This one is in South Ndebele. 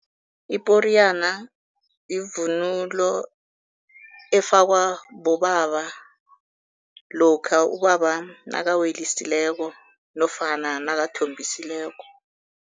Iporiyana yivunulo efakwa bobaba lokha ubaba nakawelisileko nofana nakathombisileko.